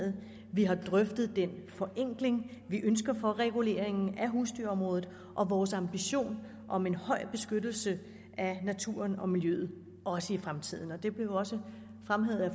vi har drøftet den forenkling vi ønsker for reguleringen af husdyrområdet og vores ambition om en høj beskyttelse af naturen og miljøet også i fremtiden det blev jo også fremhævet af